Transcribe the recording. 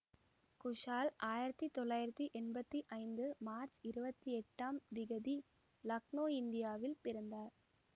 குஷால் ஆயிரத்தி தொள்ளாயிரத்தி எம்பத்தி ஐந்து மார்ச் இருபத்தி எட்டாம் திகதி லக்னோ இந்தியாவில் பிறந்தார்